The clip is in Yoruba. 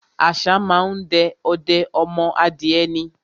Àṣá má á ń de ọdẹ ọmọ adìẹ ni.